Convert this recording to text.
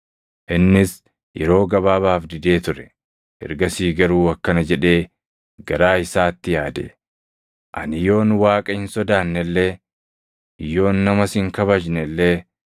“Innis yeroo gabaabaaf didee ture; ergasii garuu akkana jedhee garaa isaatti yaade; ‘Ani yoon Waaqa hin sodaanne illee, yoon namas hin kabajne illee,